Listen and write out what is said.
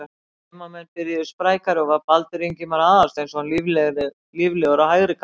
Heimamenn byrjuðu sprækari og var Baldur Ingimar Aðalsteinsson líflegur á hægri kantinum.